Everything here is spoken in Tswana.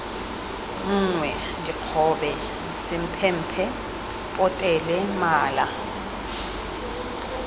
nngwe dikgobe semphemphe potele mala